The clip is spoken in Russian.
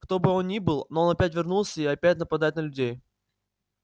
кто бы он ни был но он опять вернулся и опять нападает на людей